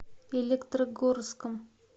электрогорском